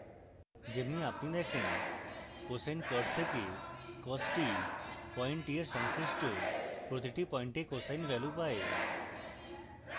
যেমনি আপনি দেখেন cosine plot থেকে cos t পয়েন্ট t এর সংশ্লিষ্ট প্রতিটি পয়েন্টে cosine value পায়